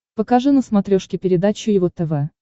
покажи на смотрешке передачу его тв